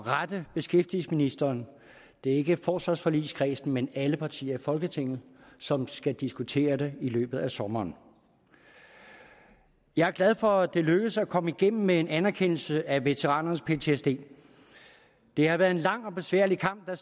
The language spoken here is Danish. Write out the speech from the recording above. rette beskæftigelsesministeren det er ikke forsvarsforligskredsen men alle partier i folketinget som skal diskutere det i løbet af sommeren jeg er glad for at det er lykkedes at komme igennem med en anerkendelse af veteranernes ptsd det har været en lang og besværlig kamp der